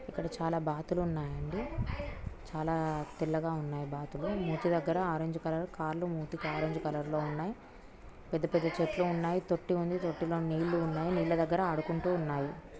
ఇక్కడ చాలా బాతులు ఉన్నాయండి చాలా తెల్లగా ఉన్నాయి బాతులు మూతి దగ్గర ఆరెంజ్ కలర్ కాళ్లు మూతికి ఆరెంజ్ కలర్ లో ఉన్నాయి పెద్ద పెద్ద చెట్లు ఉన్నాయి తొట్టి ఉంది తొట్టిలోని నీళ్లు ఉన్నాయి నీళ్ల దగ్గర ఆడుకుంటూ సన్నాయి.